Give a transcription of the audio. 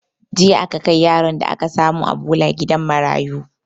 Jiya aka kai yaron da aka samu a bola gidan marayu